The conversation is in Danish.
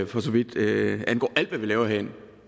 for så vidt angår alt hvad vi laver herinde